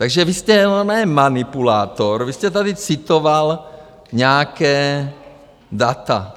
Takže vy jste ne manipulátor, vy jste tady citoval nějaká data.